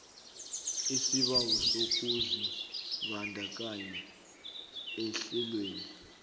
isibawo sokuzibandakanya ehlelweni